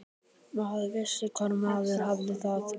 Maður vissi hvar maður hafði það.